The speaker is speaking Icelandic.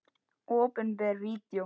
Opinber Vídeó